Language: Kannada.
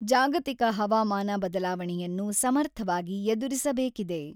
ಜಾಗತಿಕ ಹವಾಮಾನ ಬದಲಾವಣೆಯನ್ನು ಸಮರ್ಥವಾಗಿ ಎದುರಿಸಬೇಕಿದೆ.